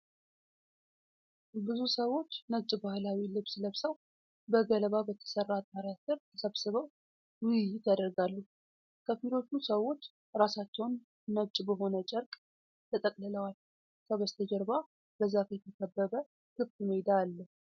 ብዙ ሰዎች ነጭ ባህላዊ ልብስ ለብሰው በገለባ በተሰራ ጣሪያ ስር ተሰብስበው ውይይት ያደርጋሉ። ከፊሎቹ ሰዎች ራሳቸውን ነጭ በሆነ ጨርቅ ተጠቅልለዋል። ከበስተጀርባ በዛፍ የተከበበ ክፍት ሜዳ አለ።